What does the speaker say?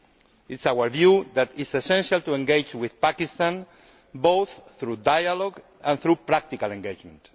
It is our view that it is essential to engage with Pakistan, both through dialogue and through practical engagement.